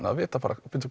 að vita